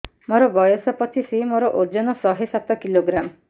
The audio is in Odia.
ମୋର ବୟସ ପଚିଶି ମୋର ଓଜନ ଶହେ ସାତ କିଲୋଗ୍ରାମ